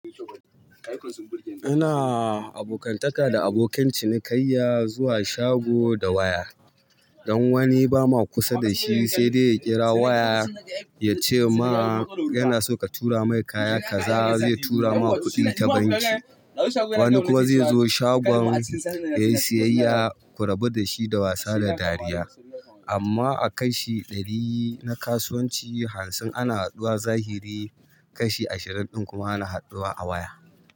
Ina abokantaka da abokan cinikayya zuwa shago da waya. Dan wani ba ma kusa da shi saidai ya kira waya ya ce ma yana so ka tura mai kaya kaza zai tura ma kuɗin ta banki. Wani kuma zai zo shagon ya yi siyayya ku rabu da shi da wasa da dariya. Amma a kashi ɗari na kasuwanci hamsin ana hadduwa zahiri kashi ashirin ɗin kuma ana hadduwa a waya.